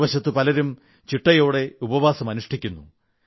മറുവശത്ത് പലരും ചിട്ടയോടെ ഉപവാസം അനുഷ്ഠിക്കുന്നു